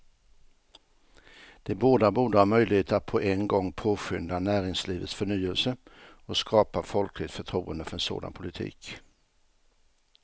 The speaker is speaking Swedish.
De båda borde ha möjligheter att på en gång påskynda näringslivets förnyelse och skapa folkligt förtroende för en sådan politik.